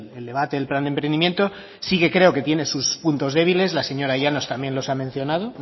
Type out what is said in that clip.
el debate del plan de emprendimiento sí que creo que tiene sus puntos débiles la señora llanos también los ha mencionado